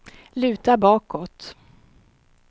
luta bakåt